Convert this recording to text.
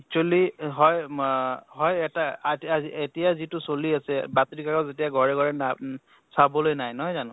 actually হয় মা হয় এটা এতিয়া যিটো চলি আছে বাতৰি কাকত যেতিয়া ঘৰে ঘৰে না উম চাবলৈ নাই, নহয় জানো?